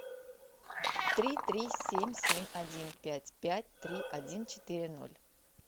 три три семь семь один пять пять три один четыре ноль